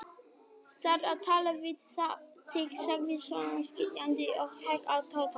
Ég þarf að tala við þig sagði Sonja skipandi og hékk á Tóta.